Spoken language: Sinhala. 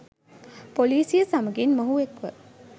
පොලීසිය සමඟින් මොහු එක්ව